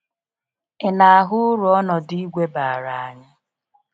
Ị na ahụ uru ọnọdụ ìgwè bara anyị?